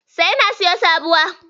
Sai na siyo sabuwa.